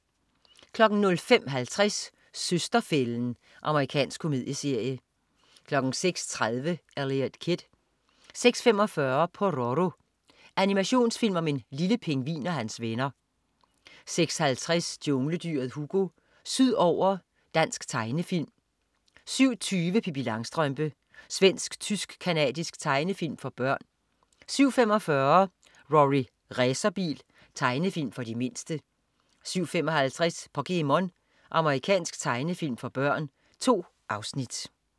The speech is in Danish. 05.50 Søster-fælden. Amerikansk komedieserie 06.30 Eliot Kid 06.45 Pororo. Animationsfilm om en lille pingvin og hans venner 06.50 Jungledyret Hugo. Sydover. Dansk tegnefilm 07.20 Pippi Langstrømpe. Svensk-tysk-canadisk tegnefilm for børn 07.45 Rorri Racerbil. Tegnefilm for de mindste 07.55 POKéMON. Japansk tegnefilm for børn. 2 afsnit